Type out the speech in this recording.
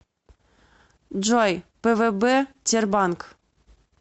джой пвб тербанк